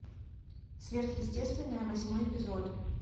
сверхъестественное восьмой эпизод